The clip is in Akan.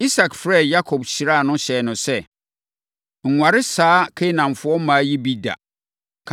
Isak frɛɛ Yakob, hyiraa no hyɛɛ no sɛ, “Nware saa Kanaanfoɔ mmaa yi bi da.